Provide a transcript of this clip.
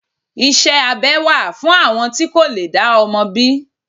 Iṣẹ́ abẹ wà fún àwọn tí kò lè dá ọmọ bí.